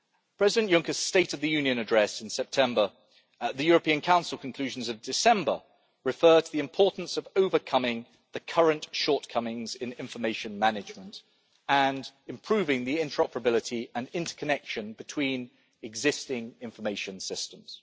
President Juncker's State of the Union address in September and the European Council conclusions of December, refer to the importance of overcoming the current shortcomings in information management and improving the interoperability and interconnection between existing information systems.